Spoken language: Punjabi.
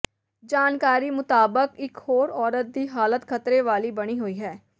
ਜਾਣਕਾਰੀ ਮੁਤਾਬਿਕ ਇੱਕ ਹੋਰ ਔਰਤ ਦੀ ਹਾਲਤ ਖ਼ਤਰੇ ਵਾਲੀ ਬਣੀ ਹੋਈ ਹੈ